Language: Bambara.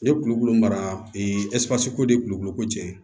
Ne ye kulukolo mara ko de kulukolo ko cɛn